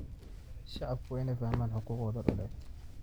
Shacabku waa inay fahmaan xuquuqdooda dhuleed.